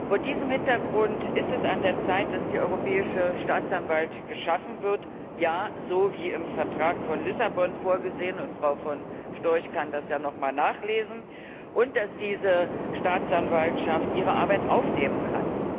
Vor diesem Hintergrund ist es an der Zeit, dass die Europäische Staatsanwaltschaft geschaffen wird ja, so wie im Vertrag von Lissabon vorgesehen, und Frau von Storch kann das ja noch einmal nachlesen und dass diese Staatsanwaltschaft ihre Arbeit aufnehmen kann.